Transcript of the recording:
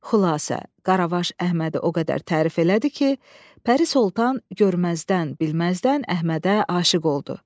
Xülasə, qaravaş Əhmədi o qədər tərif elədi ki, Pəri Sultan görməzdən, bilməzdən Əhmədə aşiq oldu.